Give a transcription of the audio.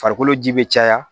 Farikolo ji bɛ caya